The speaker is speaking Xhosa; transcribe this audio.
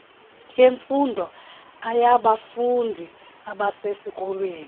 yemfundo aybafundi abasesikolweni